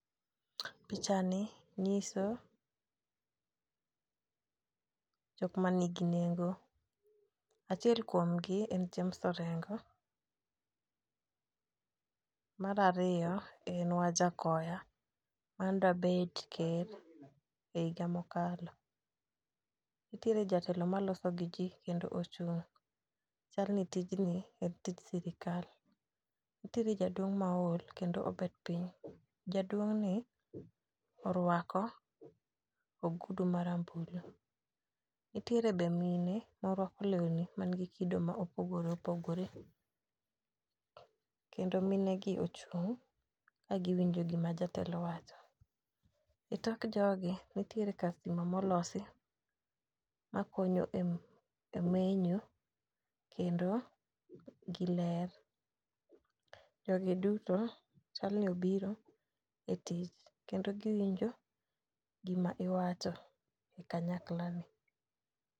Picha ni ng'iso jok manigi nengo achiel kuom gi en James orengo. Mar ariyo en wajakoya mane da bet ker e higa mokalo. Nitiere jatelo maloso gi jii kendo ochung' chalni tijni en tij sirikal. Nitiere jaduong ma ool kendo obet piny jaduong' ni orwako ogudu marambulu. Nitiere be mine ma orwako lewni man gi kido ma opogore opogore kendo mine gi ochung' ka giwinjo gima jatelo wacho. E tok jogi nitiere kar stima molosi makonyo e e menyo kendo gi ler . Jogi duto chal ni obiro e tich kendo giwinjo gima iwacho e kanyakla ni.